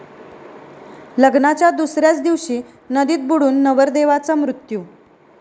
लग्नाच्या दुसऱ्याच दिवशी नदीत बुडून नवरदेवाचा मृत्यू